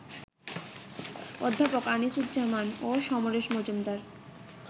অধ্যাপক আনিসুজ্জামান ও সমরেশ মজুমদার